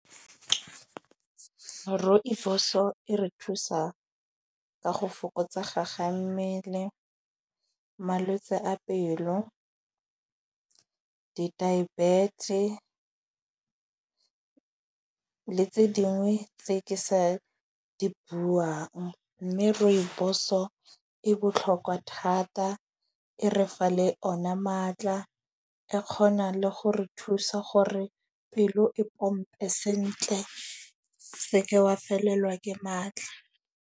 Rooibos-o e re thusa ka go fokotsega ga mmele, malwetse a pelo, di-diabetes le tse dingwe tse ke sa di buang. Mme rooibos-o e botlhokwa thata, e re fa le ona maatla, e kgona le go re thusa gore pelo e pompe sentle. Se ke wa felelwa ke maatla.